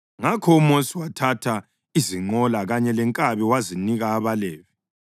Ngakho uMosi wathatha izinqola kanye lenkabi wazinika abaLevi.